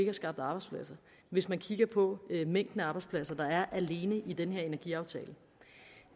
har skabt arbejdspladser hvis man kigger på mængden af arbejdspladser der er alene i den her energiaftale